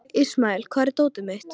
Ismael, hvar er dótið mitt?